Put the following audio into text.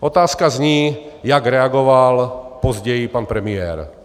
Otázka zní, jak reagoval později pan premiér.